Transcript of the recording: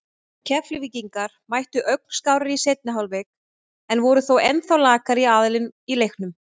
Keflvíkingar mættu ögn skárri í seinni hálfleikinn en voru þó ennþá lakari aðilinn í leiknum.